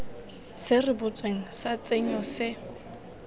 se rebotsweng sa tshenyo se